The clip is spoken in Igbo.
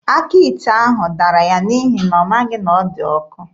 Aka ite ahụ dara ya n'ihi na ọ maghị na ọ dị ọkụ.